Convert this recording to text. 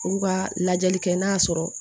U ka lajɛli kɛ n'a sɔrɔ